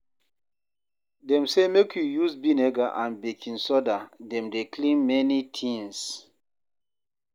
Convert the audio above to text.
Dem sey make we use vinegar and baking soda, dem dey clean many tins.